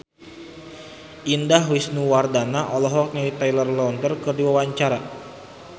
Indah Wisnuwardana olohok ningali Taylor Lautner keur diwawancara